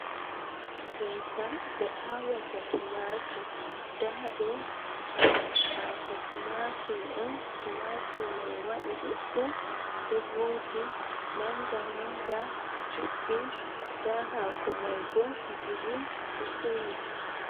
Ngesa ɓe awata Tumatur nda ɗo hako Tumatur on. Tumatur mai waɗi ɗudɗum ɗo voji manga manga juɗɗi nda hako mai bo grin ɗo sewi.